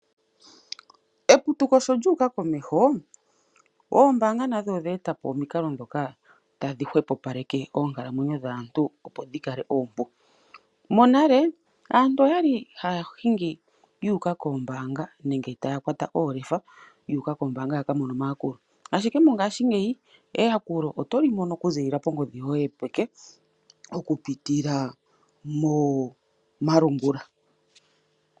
Eputuko sho lyu uka komeho oombaanga nadho edhe etapo omikalo ndhoka tadhi hwepopaleke oonkalamwenyo dhaantu opo dhikale oompu . Monale aantu oyali haya hingi yi uka koombaanga nenge taya kwata oolefa yu oka koombaanga ya kamone omayakulo ashike mongashingeya eyakulo oto kimono okuziilila ko ngodhi yoye yopeke okupitila moo malungula.